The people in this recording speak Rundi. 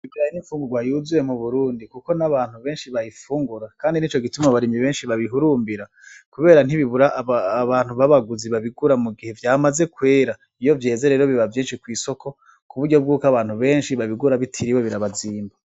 Ikirayi n'imfungurwa yuzuye mu burundi kuko n'abantu benshi bayifungura kandi nico gituma abarimyi benshi babihurumbira kubera ntibibura abantu babaguzi babigura mugihe vyamaze kwera, iyo vyeze rero biba vyinshi kw'isoko kuburyo bwuko abantu benshi babigura bitiriwe birabazimba.